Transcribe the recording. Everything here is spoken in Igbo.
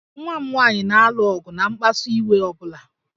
Nwa m nwaanyị na-alụ ọgụ na mkpasu iwe ọ bụla